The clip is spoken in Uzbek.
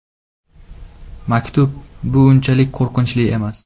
Maktab bu unchalik qo‘rqinchli emas.